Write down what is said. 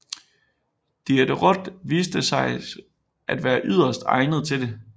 Diderot viste sig at være yderst egnet til det